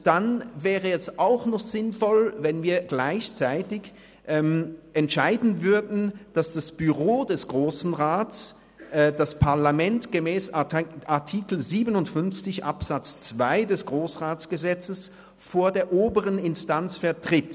Dann wäre es auch noch sinnvoll, wenn wir gleichzeitig entscheiden würden, dass das Büro des Grossen Rats das Parlament gemäss Artikel 57 Absatz 2 GRG vor der oberen Instanz vertritt.